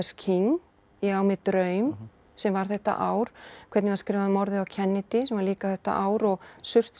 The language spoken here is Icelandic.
King ég á mér draum sem var þetta ár hvernig var skrifað um morðið á Kennedy sem var líka þetta ár og